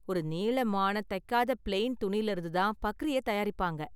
ஒரு நீளமான தைக்காத ப்ளெயின் துணியிலிருந்து தான் பக்ரிய தயாரிப்பாங்க